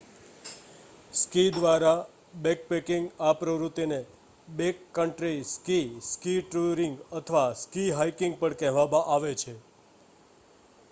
ski દ્વારા backpacking આ પ્રવૃત્તિને બેકકન્ટ્રી સ્કી સ્કી ટૂરિંગ અથવા સ્કી હાઇકિંગ પણ કહેવામાં આવે છે